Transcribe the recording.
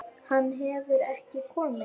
Hann hefur ekki komið.